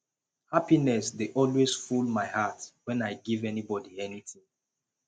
happiness dey always full my heart wen i give anybody anything